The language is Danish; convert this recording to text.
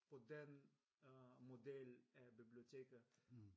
På den øh model af biblioteket